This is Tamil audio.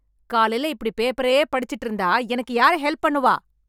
காலைல இப்படி பேப்பரே படிச்சுட்டு இருந்தா எனக்கு யாரு ஹெல்ப் பண்ணுவா?